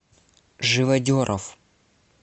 живодеров